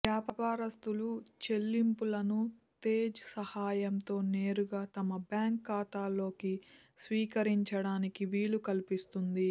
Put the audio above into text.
వ్యాపారస్తులు చెల్లింపులను తేజ్ సాయంతో నేరుగా తమ బ్యాంకు ఖాతాలోకి స్వీకరించడానికి వీలు కల్పిస్తుంది